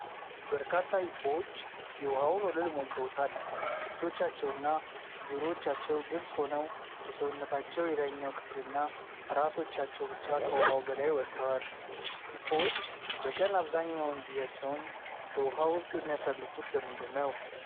በርካታ ሂፖዎች የውሃውን ወለል ሞልተውታል፤ ፊቶቻቸውና ጆሮዎቻቸው ግልጽ ሆነው የሰውነታቸው የላይኛው ክፍልና ራሶቻቸው ብቻ ከውሃው በላይ ወጥተዋ ። ሂፖዎች በቀን አብዛኛውን ጊዜያቸውን በውሃ ውስጥ የሚያሳልፉት ለምንድን ነው?